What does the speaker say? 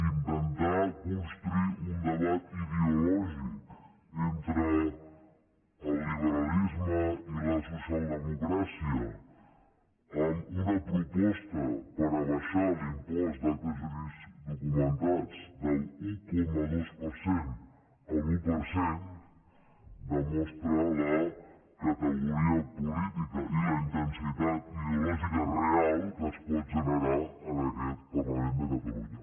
intentar construir un debat ideològic entre el liberalisme i la socialdemocràcia amb una proposta per abaixar l’impost d’actes jurídics documentats de l’un coma dos per cent a l’un per cent demostra la categoria política i la intensitat ideològica real que es pot generar en aquest parlament de catalunya